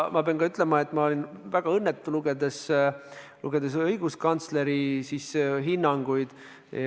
Ma pean ütlema, et ma olin väga õnnetu, lugedes õiguskantsleri hinnanguid.